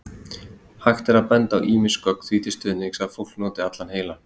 Hægt er að benda á ýmis gögn því til stuðnings að fólk noti allan heilann.